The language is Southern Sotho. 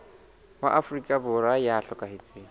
wa afrika borwa ya hlokahetseng